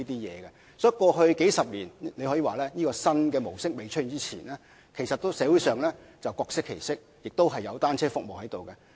因此，過去數十年來，在這種新模式尚未出現之前，社會上可說是各適其適，而且也有提供各種單車服務。